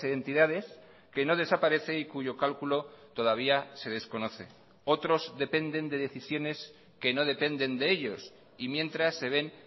entidades que no desaparece y cuyo cálculo todavía se desconoce otros dependen de decisiones que no dependen de ellos y mientras se ven